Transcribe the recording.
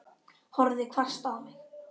Horfði hvasst á mig.